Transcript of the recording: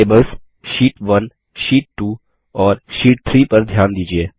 tables sheet one sheet two और sheet three पर ध्यान दीजिये